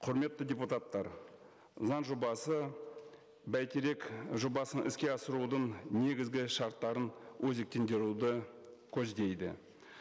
құрметті депутаттар заң жобасы бәйтерек жобасын іске асырудың негізгі шарттарын өзектендіруді көздейді